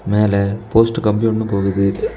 மேல போஸ்ட் கம்பி ஒன்னு போகுது.